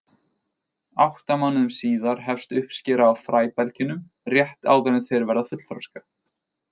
Átta mánuðum síðar hefst uppskera á fræbelgjunum, rétt áður en þeir verða fullþroska.